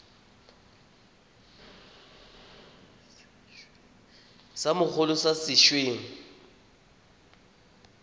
sa mogolo sa se weng